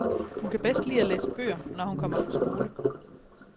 Hun kan bedst lide at læse bøger, når hun kommer fra skole.